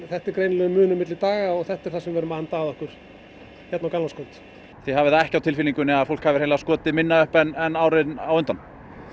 þetta er greinilegur munur milli daga og þetta er það sem við erum að anda að okkur á gamlárskvöld þið hafið ekki á tilfinningunni að fólk hafi skotið minna upp en árin á undan